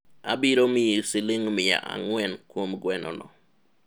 abiro miyi siling' miya ang'wen kuom gweno no